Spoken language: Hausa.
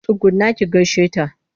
Tsugunna ki gaishe ta!